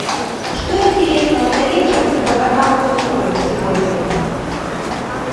что интересного на вечер по каналу супер сегодня